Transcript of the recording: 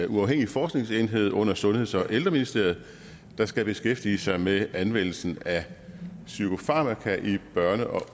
uafhængig forskningsenhed under sundheds og ældreministeriet der skal beskæftige sig med anvendelsen af psykofarmaka i børne og